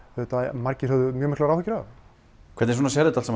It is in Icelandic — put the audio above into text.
margir höfðu mjög miklar áhyggjur af hvernig sérðu þetta